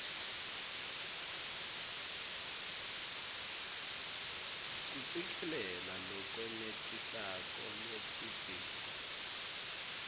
kucikelela lolwenetisako lwetidzingo